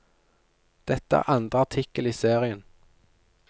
Dette er andre artikkel i serien.